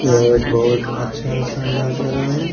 यह एक बोहोत अच्छा शानदार जगा है।